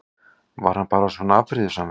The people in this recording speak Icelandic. Var hann bara svona afbrýðisamur?